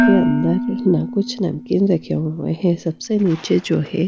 के अंदर ना कुछ नमकीन रखे हुए हैं सबसे नीचे जो है--